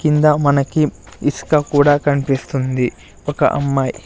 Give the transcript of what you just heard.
కిందా మనకి ఇసుక కూడా కన్పిస్తుంది ఒక అమ్మాయ్--